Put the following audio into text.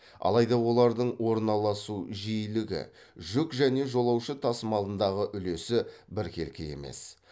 алайда олардың орналасу жиілігі жүк және жолаушы тасымалындағы үлесі біркелкі емес